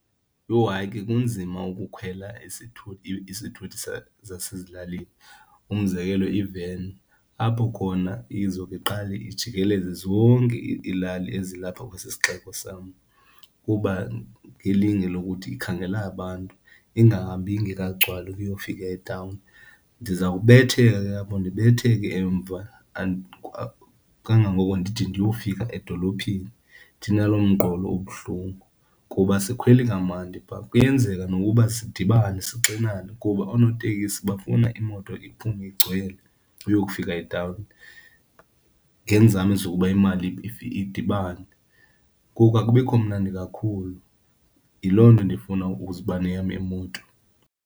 Yho, hayi ke kunzima ukukhwela isithuthi zasezilalini! Umzekelo iveni, apho khona izobe iqale ijikelele zonke iilali ezilapha kwesi sixeko sam kuba ngelinge lokuthi ikhangela abantu, ingahambi ingekagcwali ukuyofika etawuni. Ndizawubetheka ke apho, ndibethe ke emva kangangoko ndide ndiyofika edolophini ndinaloo mqolo ubuhlungu kuba asikhwele kamandi phaa. Kuyenzeka nokuba sidibane sixinane kuba oonotekisi bafuna imoto iphume igcwele uyokufika etawuni ngeenzame zokuba imali idibane, ngoku akubikho mnandi kakhulu. Yiloo nto ndifuna ukuzoba neyam imoto.